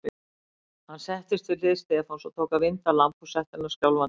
Hann settist við hlið Stefáns og tók að vinda lambhúshettuna skjálfandi höndum.